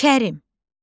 Kərim.